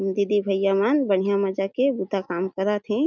दीदी भईया मन बढ़िया मज़ा के बुता काम करत हे।